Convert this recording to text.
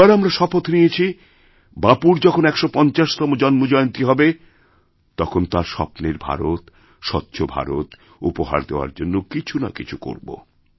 আর আমরা শপথ নিয়েছি বাপুর যখন ১৫০তম জন্মজয়ন্তী হবে তখন তাঁর স্বপ্নেরভারত স্বচ্ছ ভারত উপহার দেওয়ার জন্য কিছু না কিছু করব